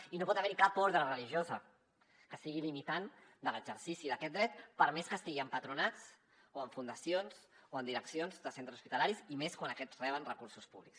i no pot haver hi cap orde religiosa que sigui limitant de l’exercici d’aquest dret per més que estigui en patronats o en fundacions o en direccions de centres hospitalaris i més quan aquests reben recursos públics